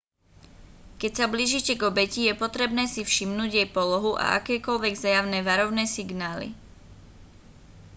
keď sa blížite k obeti je potrebné si všimnúť jej polohu a akékoľvek zjavné varovné signály